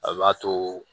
A b'a to